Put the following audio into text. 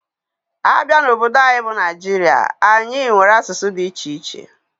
Abia n'obodo anyi bu Nigeria, anyi nwere asụsụ dị iche iche.